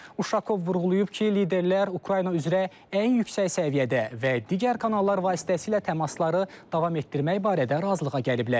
Uşakov vurğulayıb ki, liderlər Ukrayna üzrə ən yüksək səviyyədə və digər kanallar vasitəsilə təmasları davam etdirmək barədə razılığa gəliblər.